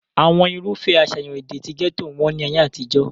àwọn irúfẹ́ àṣàyàn èdè ti gẹ́tò wọ́n ní ayé àtijọ́